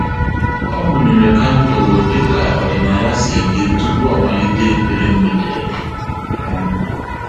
Ọ́ mụ́nyèrè kandụl dịka ọ́dị́nála sì dị tupu ọ́ màlị́tè ekpere mgbede. um